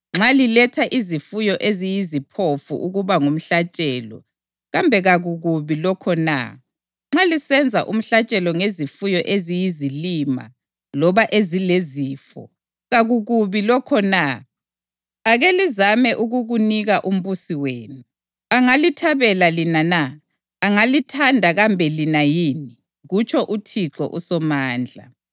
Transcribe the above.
Nxa liletha izifuyo eziyiziphofu ukuba ngumhlatshelo, kambe kakukubi lokho na? Nxa lisenza umhlatshelo ngezifuyo eziyizilima loba ezilezifo, kakukubi lokho na? Ake lizame ukukunika umbusi wenu! Angalithabela lina na? Angalithanda kambe lina yini?” kutsho uThixo uSomandla.